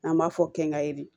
An b'a fɔ k'an ka ye de